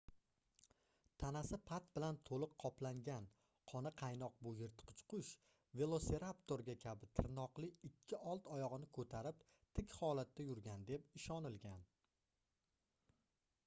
tanasi pat bilan toʻliq qoplangan qoni qaynoq bu yirtqich qush velosiraptorga kabi tirnoqli ikki old oyogʻini koʻtarib tik holatda yurgan deb ishonilgan